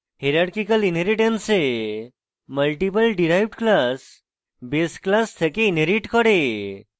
hierarchical inheritance এ multiple derived classes base classes থেকে inherit করে